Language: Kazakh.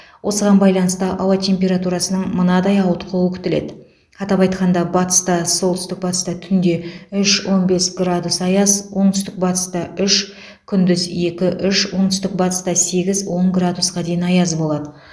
осыған байланысты ауа температурасының мынадай ауытқуы күтіледі атап айтқанда батыста солтүстік батыста түнде үш он бес градус аяз оңтүстік батыста үш күндіз екі үш оңтүстік батыста сегіз он градусқа дейін аяз болады